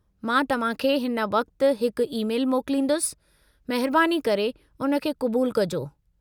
मां तव्हांखे हिन वक्ति हिकु ई- मैल मोकलींदुसि, महिरबानी करे उन खे क़ुबूलु कजो।